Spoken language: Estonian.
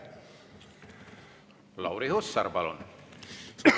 Lauri Hussar, palun!